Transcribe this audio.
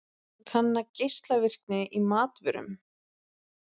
Kanna geislavirkni í matvörum